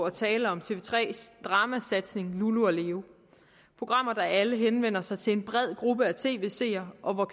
at tale om tv3s dramasatsning lulu leon programmer der alle henvender sig til en bred gruppe af tv seere og